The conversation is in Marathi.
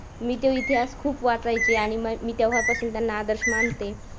मी तो इतिहास खूप वाचायचे आणि मी तेव्हापासून त्यांना आदर्श मानते.